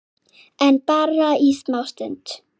En bara í smá stund.